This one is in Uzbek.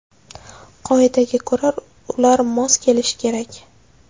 Qoidaga ko‘ra, ular mos kelishi kerak.